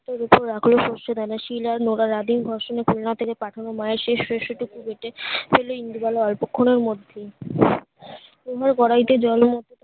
এখুনো সর্ষে দেয়নি সিল আর নোরা রাধেন সব সময়ে প্রেরণা থেকে পাঠানো মা এর শেষ সর্ষে টুকু বেটে ফেলে ইন্দ্র বেলায় অল্প খানের মধ্যে এই ভাবে কড়াইতে জল এর